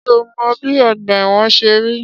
Ṣé ò mọ bi ọgbà ẹ̀wọ̀n ṣe rí?